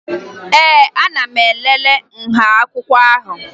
Ee, ana m elele nha akwụkwọ ahụ